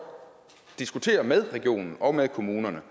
diskutere med regionen og med kommunerne